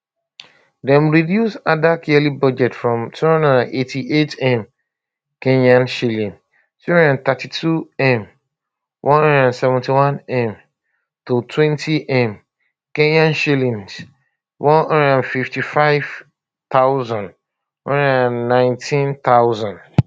dem reduce adak yearly budget from 288m kenyan shillings 232m 171m to 20m kenyan shillings 155000 119000